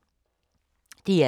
DR2